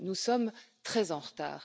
Nous sommes très en retard.